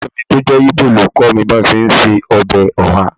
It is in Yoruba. Ọ̀rẹ́ mi tó jẹ́ Igbo ni ó kọ́ mi bí wọ́n ti ń se ọbẹ̀ oha